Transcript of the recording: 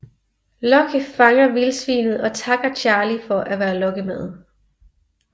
Locke fanger vildsvinet og takker Charlie for at være lokkemad